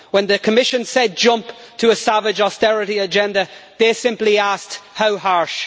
When the Commission said jump to a savage austerity agenda, they simply asked how harsh?'.